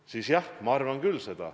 Seda ma arvan küll.